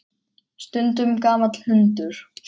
Stundum gamall hundur.